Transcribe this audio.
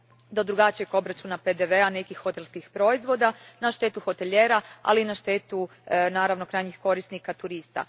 do drugačijeg obračuna PDV a nekih hotelskih proizvoda, na štetu hotelijera, ali i na štetu naravno krajnjih korisnika, turista.